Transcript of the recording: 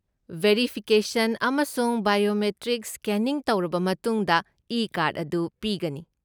Verification ꯑꯃꯁꯨꯡ biometric scanning ꯇꯧꯔꯕ ꯃꯇꯨꯡꯗ ꯏ ꯀꯥꯔꯗ ꯑꯗꯨ ꯄꯤꯒꯅꯤ꯫